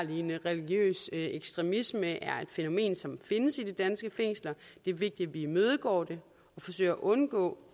religiøs ekstremisme er et fænomen som findes i de danske fængsler det er vigtigt at vi imødegår det og forsøger at undgå